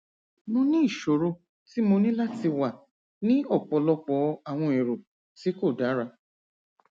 mo ni iṣoro ti mo ni lati wa ni ọpọlọpọ awọn ero ti ko dara